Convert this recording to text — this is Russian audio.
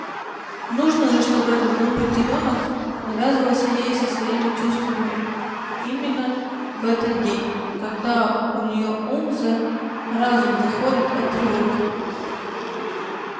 нужно же чтобы этот глупый телёнок навязывался ей со своими чувствами именно в этот день когда у неё ум за разум заходит от тревоги